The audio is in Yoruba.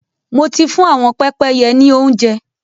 Mo ti fún ạ̀wọn pẹ́pẹ́yẹ ní óuńjẹ.